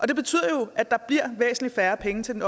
det betyder jo at der bliver væsentlig færre penge til den